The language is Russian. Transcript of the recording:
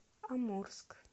амурск